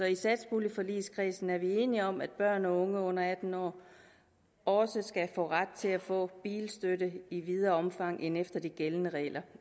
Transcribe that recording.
i satspuljeforligskredsen er vi enige om at børn og unge under atten år også skal have ret til at få bilstøtte i videre omfang end efter de gældende regler